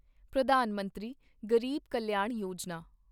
Pradhan Mantri Garib Kalyan Yojana